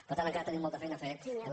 per tant encara tenim molta feina a fer en la